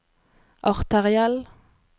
arteriell